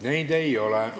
Neid ei ole.